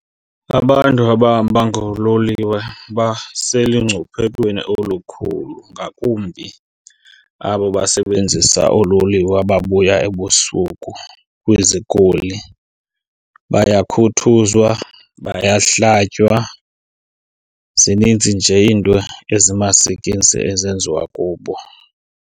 Abantu abahamba ngololiwe baselungcuphekweni olukhulu ngakumbi abo basebenzisa oololiwe ababuya ebusuku kwizikoli. Bayakhuthuzwa, bayahlatywa, zininzi nje iinto ezimasikizi ezenziwa kubo.